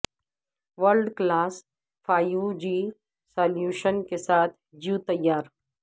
world class five G solution کے ساتھ جیو تیار